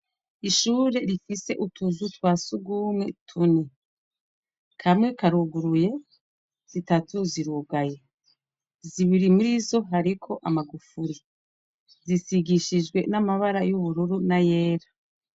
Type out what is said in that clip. Ishure rifise utuzu twasugumwe kamwe karuguruye ,zitatu zirugaye, zibiri murizo hariko amagufuri zisigishijwe amabara yubururu nayera.